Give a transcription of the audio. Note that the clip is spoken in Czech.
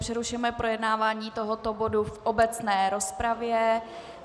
Přerušuji projednávání tohoto bodu v obecné rozpravě.